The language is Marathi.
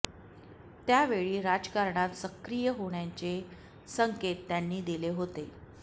त्या वेळी राजकारणात सक्रिय होण्याचे संकेत त्यांनी दिले होते